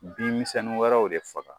Bin misɛnnin wɛrɛw de faga